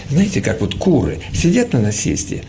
знаете как вот куры сидят на насесте